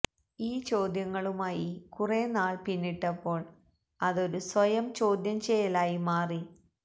ഈ ചോദ്യങ്ങളുമായി കുറെ നാള് പിന്നിട്ടപ്പോള് അതൊരു സ്വയം ചോദ്യം ചെയ്യലായി മാറി